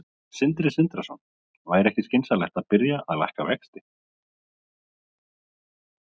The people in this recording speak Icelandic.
Sindri Sindrason: Væri ekki skynsamlegt að byrja að lækka vexti?